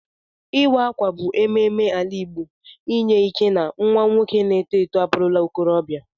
Iwa akwa bu ememe ala igbo inye ike na nwa nwoke na eto eto aburula okorobia.